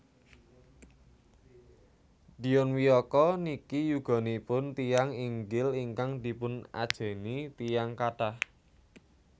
Dion Wiyoko niki yuganipun tiyang inggil ingkang dipun ajeni tiyang kathah